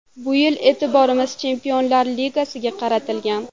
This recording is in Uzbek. Bu yil e’tiborimiz Chempionlar Ligasiga qaratilgan.